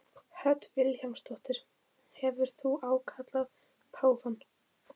Hödd Vilhjálmsdóttir: Hefur þú ákallað páfann?